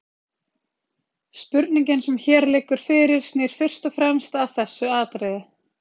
Spurningin sem hér liggur fyrir snýr fyrst og fremst að þessu atriði.